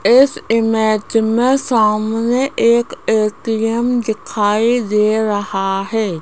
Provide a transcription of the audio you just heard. इस इमेज में सामने एक ए_टी_एम दिखाई दे रहा है।